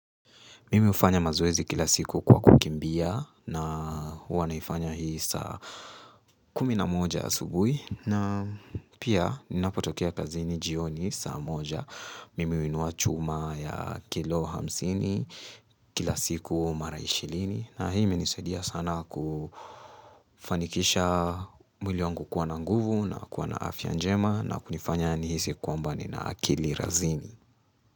Mimi hufanya mazoezi kila siku kwa kukimbia na huwa naifanya hii saa kumi na moja asubui na pia ninapotokea kazini jioni saa moja Mimi huinua chuma ya kilo hamsini kila siku mara ishilini na hii imenisaidia sana kufanikisha mwili wangu kuwa na nguvu na kuwa na afya njema na kunifanya nihisi kwamba nina akili razini.